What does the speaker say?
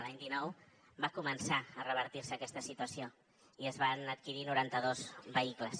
l’any dinou va començar a revertir se aquesta situació i es van adquirir noranta dos vehicles